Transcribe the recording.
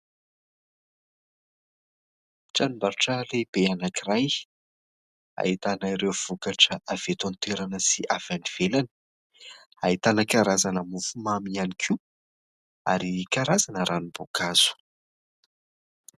Tranom-barotra lehibe anankiray ahitana ireo vokatra avy eto an-toerana sy avy any ivelany, ahitana karazana mofomamy ihany koa ary karazana ranom-boankazo.